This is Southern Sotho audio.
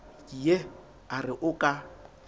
ye a re o ka